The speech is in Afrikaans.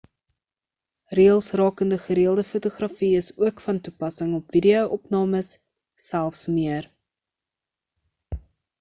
reëls rakende gereëlde fotografie is ook van toepassing op video opnames selfs meer